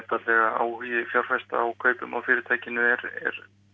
áhugi fjárfesta á kaupum á fyrirtækinu er er